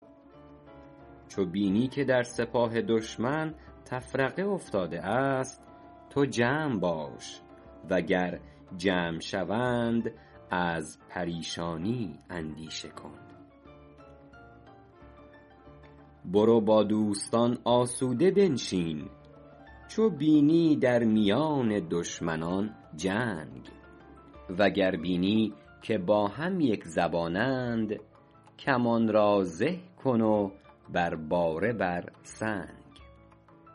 چو بینی که در سپاه دشمن تفرقه افتاده است تو جمع باش و گر جمع شوند از پریشانی اندیشه کن برو با دوستان آسوده بنشین چو بینی در میان دشمنان جنگ وگر بینی که با هم یکزبانند کمان را زه کن و بر باره بر سنگ